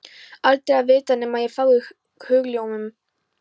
Aldrei að vita nema ég fái hugljómun.